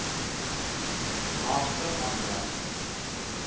naaste aan jou